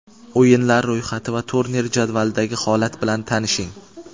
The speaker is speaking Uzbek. O‘yinlar ro‘yxati va turnir jadvalidagi holat bilan tanishing.